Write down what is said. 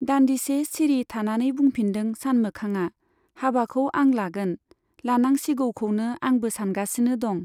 दान्दिसे सिरि थानानै बुंफिनदों सानमोखांआ, हाबाखौ आं लागोन , लानांसिगौखौनो आंबो सानगासिनो दं।